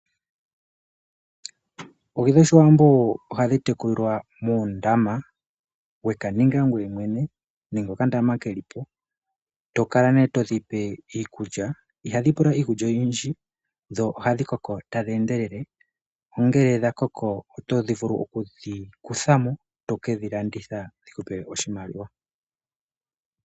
Oohi dhoOshiwambo ohadhi tekulilwa muundama weka ninga ngoye mwene nenge okandama keli po tokala nee todhipe iikulya, ihadhi pula iikulya oyindji dho ohadhi koko tadhi endelele. Nongele dhakoko otovulu okudhi kutha mo eto ke dhilanditha dhikupe oshimaliwa.